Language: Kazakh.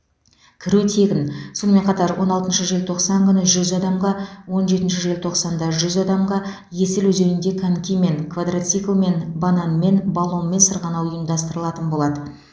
кіру тегін сонымен қатар он алтыншы желтоқсан күні жүз адамға он жетінші желтоқсанда жүз адамға есіл өзенінде конькимен квадроциклмен банан мен баллонмен сырғанау ұйымдастыралатын болады